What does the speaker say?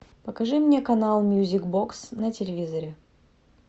покажи мне канал мьюзик бокс на телевизоре